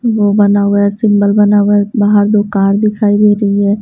वो बना हुआ है सिंबल बना हुआ है बाहर दो कार दिखाई दे रही है।